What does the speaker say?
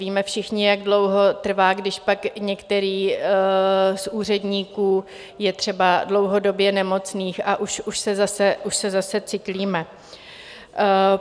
Víme všichni, jak dlouho trvá, když pak některý z úředníků je třeba dlouhodobě nemocný, a už se zase cyklíme.